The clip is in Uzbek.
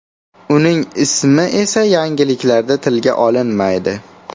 Uning ismi esa yangiliklarda tilga olinmaydi.